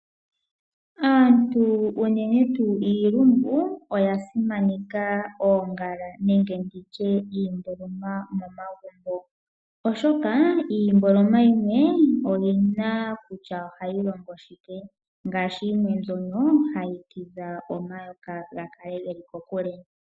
Aantu unene tuu iilumbu, oya simaneka oongala, nenge nditye iimboloma momagumbo, oshoka iimboloma yimwe oyi na kutya ohayi longo shike, ngaashi yimwe mbyono hayi tidha omayoka, gakale ge li kokule.